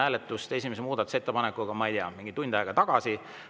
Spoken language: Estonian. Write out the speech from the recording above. Me alustasime esimese muudatusettepaneku hääletust, ma ei tea, mingi tund aega tagasi.